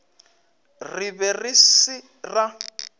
re be re se ra